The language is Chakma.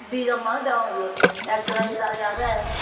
dijon manuj degong eyut ekjon he dareh ageh.